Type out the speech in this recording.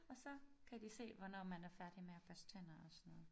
Og så kan de se hvornår man er færdig med at børste tænder og sådan noget